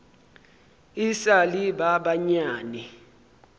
e sa le ba banyane